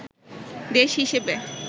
দেশ হিসেবে